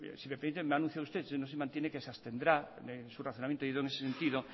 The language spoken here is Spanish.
si me permiten ha anunciado usted que se abstendrá su razonamiento ha ido en ese sentido